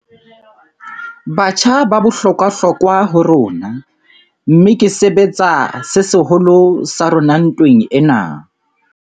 Batjha ba bohlokwahlokwa ho rona, mmeke sebetsa se seholo sa rona ntweng ena.